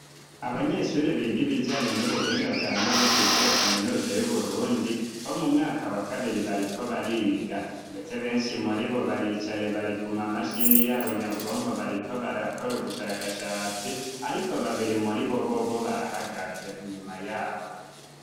Abanyeshure biga ibijanye n'ubuhinga bwa none kw'ishure Kaminuza y'Uburundi bo mu mwaka wa kabiri, bariko bariga. Ndetse benshi muri bo baricaye, bari kuma mashini yabo nyabwonko bariko barakora ubushakashatsi ariko babiri muri bo bobo barahagaze inyuma yabo.